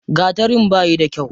Gatarin bayi da kyau.